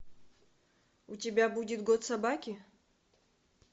у тебя будет год собаки